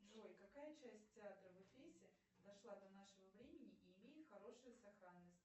джой какая часть театра в эфесе дошла до нашего времени и имеет хорошую сохранность